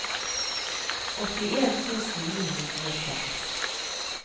åttien tusen ni hundre og seks